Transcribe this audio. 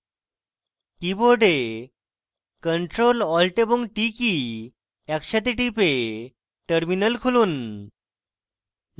keyboard ctrl alt এবং t key একসাথে টিপে terminal খুলুন